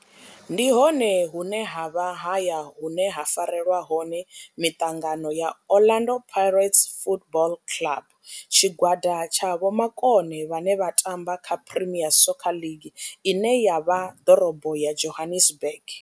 Ndi hone hune havha haya hune ha farelwa hone miṱangano ya Orlando Pirates Football Club. Tshigwada tsha vhomakone vhane vha tamba kha Premier Soccer League ine ya vha ḓorobo ya Johannesburg.